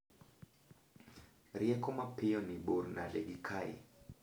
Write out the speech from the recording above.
Rieko mapiyo ni bor nade gi kae